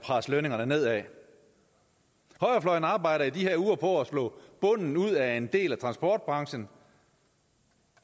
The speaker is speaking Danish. presse lønningerne nedad højrefløjen arbejder i de her uger på at slå bunden ud af en del af transportbranchen